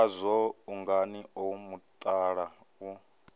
ngazwo ungani o mutala u